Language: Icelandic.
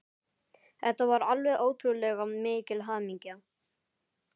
Þetta var alveg ótrúlega mikil hamingja.